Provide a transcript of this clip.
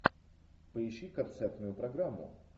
поищи концертную программу